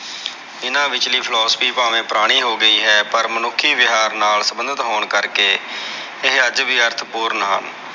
ਏਹਨਾ ਵਿਚਲੀ philosophy ਪਾਵੇ ਪੁਰਾਣੀ ਹੋ ਗਇਓ ਹੈ ਪਰ ਮਨੁੱਖੀ ਵਿਹਾਰ ਨਾਲ ਸੰਬੰਧਿਤ ਹੋਣ ਕਰਕੇ ਇਹ ਅੱਜ ਵੀ ਅਰਥ ਪੂਰਨ ਹਨ।